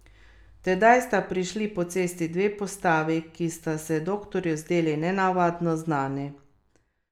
Tedaj sta prišli po cesti dve postavi, ki sta se doktorju zdeli nenavadno znani.